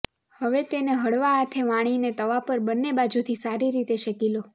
હવે તેને હળવા હાથે વણીને તવા પર બંને બાજુથી સારી રીતે શેકી લો